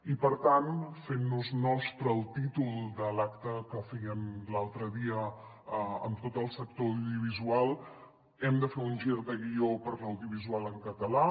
i per tant fent nos nostre el títol de l’acte que feien l’altre dia amb tot el sector audiovisual hem de fer un gir de guió per l’audiovisual en català